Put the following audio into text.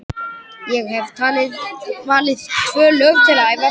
Hvernig er þetta eiginlega með þig!